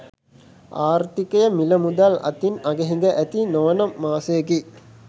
ආර්ථිකය මිල මුදල් අතින් අගහිඟ ඇති නොවන මාසයකි.